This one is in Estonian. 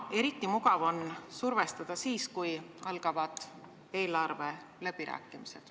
Eriti mugav on survestada siis, kui algavad eelarveläbirääkimised.